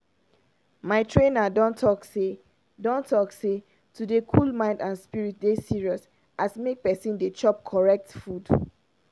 i get app wey i dey take follow as i dey cool my mind and spirit na hin make me dey on point.